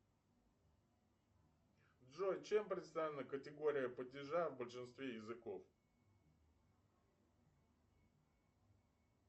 джой чем представлена категория падежа в большинстве языков